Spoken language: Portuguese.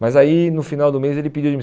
Mas aí, no final do mês, ele pediu